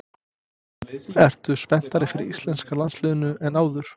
Ertu spenntari fyrir íslenska landsliðinu en áður?